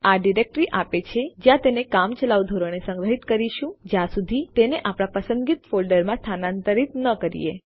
આ ડિરેક્ટરી આપે છે જ્યાં તેને કામચલાઉ ધોરણે સંગ્રહિત કરીશું જ્યાં સુધી તેને આપણા પસંદિત ફોલ્ડરમાં સ્થાનાંતરિત ન કરીએ